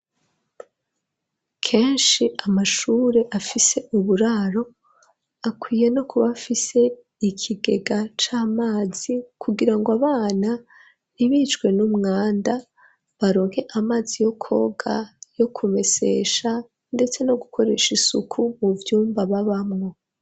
Keshi amashure afise uburaro akwiye no kuba afise ikigega c'amazi kugirango abana ntibicwe n'umwanda baronke amazi yo koga yo ku mesesha ndetse no gukoresha isuku mu vyumba babamwo